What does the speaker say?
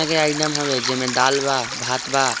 अगे आइटम हवे जे में दाल बा भात बा।